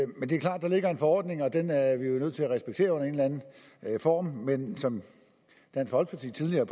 der ligger en forordning og den er vi jo nødt til at respektere under en eller anden form men som dansk folkeparti tidligere